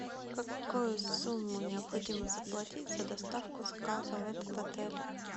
какую сумму необходимо заплатить за доставку заказа в этот отель